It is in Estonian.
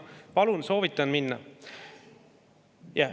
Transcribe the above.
Palun, soovitan minna.